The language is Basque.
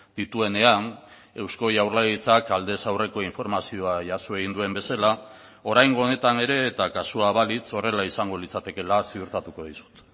dituenean eusko jaurlaritzak aldez aurreko informazioa jaso egin duen bezala oraingo honetan ere eta kasua balitz horrela izango litzatekeela ziurtatuko dizut